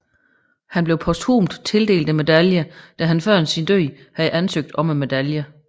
Han blev posthumt tildelt medaljen da han før sin død havde ansøgt medaljen